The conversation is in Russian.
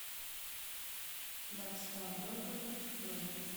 блэк стар бургер бронь